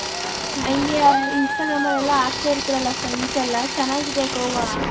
ಹಂಗೇ instagram ಅಲ್ಲಿ ಎಲ್ಲಾ ಅಕತೈತರ ಅಲ್ಲ friends ಎಲ್ಲಾ ಚೆನ್ನಾಗಿದೆ ಗೋವ .